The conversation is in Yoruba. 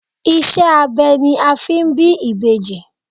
Ìṣe abẹ ni a fi ń bí ìbejì.